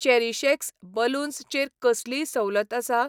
CherishX balloons चेर कसलीय सवलत आसा ?